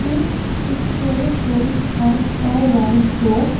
this picture shows us a wardrobe.